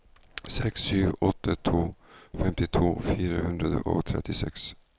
seks sju åtte to femtito fire hundre og trettiseks